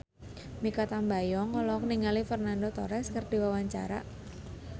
Mikha Tambayong olohok ningali Fernando Torres keur diwawancara